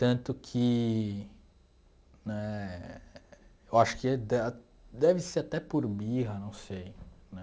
Tanto que né... Eu acho que da deve ser até por birra, não sei.